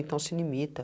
Então se limita.